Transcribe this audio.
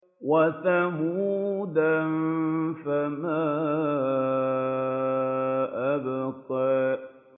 وَثَمُودَ فَمَا أَبْقَىٰ